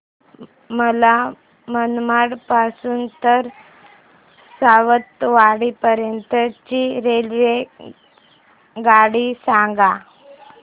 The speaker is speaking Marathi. मला मनमाड पासून तर सावंतवाडी पर्यंत ची रेल्वेगाडी सांगा